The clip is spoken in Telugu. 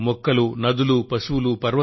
మొక్కలు కానివ్వండి నదులు కానివ్వండి